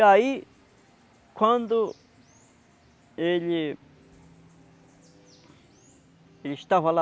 E aí, quando ele ele estava lá,